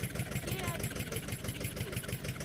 KRBL limited